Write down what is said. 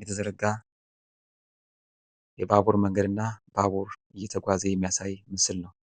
የተዘረጋ የባቡር ሀዲድ እና ባቡር የሚያሳይ ነው ።